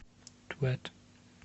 твэт